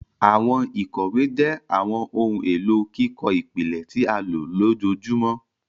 Àwọn ìkòwé jé àwọn ohùn èló kíkọ ìpìlẹ tí a lò lójoojúmó.